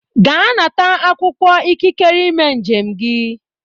Ga nata akwụkwọ ikikere ime njem gị.